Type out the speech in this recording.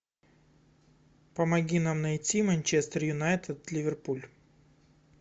помоги нам найти манчестер юнайтед ливерпуль